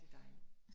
Det dejligt